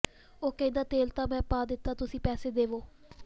ਉਹ ਕਹਿੰਦਾ ਤੇਲ ਤਾਂ ਮੈਂ ਪਾ ਦਿੱਤਾ ਤੁਸੀਂ ਪੈਸੇ ਦਵੋ